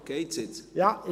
Ist es jetzt besser?